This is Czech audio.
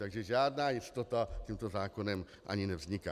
Takže žádná jistota tímto zákonem ani nevzniká.